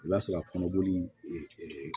I b'a sɔrɔ a kɔnɔboli